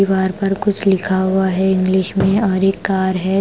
दीवार पर कुछ लिखा हुआ है इंग्लिश में और एक कार है।